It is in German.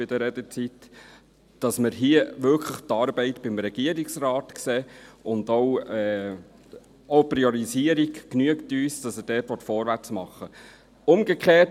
Wir sehen hier die Arbeit wirklich beim Regierungsrat, und auch die Priorisierung, dass er dort vorwärts machen will, genügt uns.